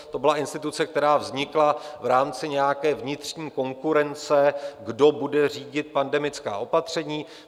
To byla instituce, která vznikla v rámci nějaké vnitřní konkurence, kdo bude řídit pandemická opatření.